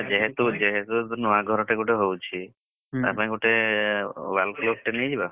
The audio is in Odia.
ଯେହେତୁ ଯେହେତୁ ନୂଆ ଘରଟେ ଗୋଟେ ହଉଛି। ତା ପାଇଁ ଗୋଟେ wall clock ଟେ ନେଇ ଯିବା?